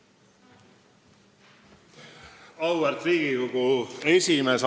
Auväärt Riigikogu esimees!